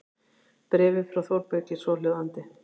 Bréfið frá Þórbergi er svohljóðandi